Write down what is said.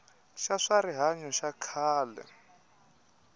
xa swa rihanyo xa khale